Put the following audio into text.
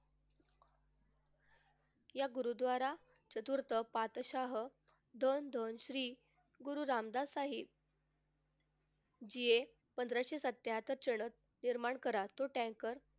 या गुरुद्वारा चतुर्थ पातशाह दोन दोन श्री गुरु रामदास साही जे पंधराशे सत्याहत्तर चरण निर्माण करा तो tanker,